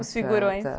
Os figurões.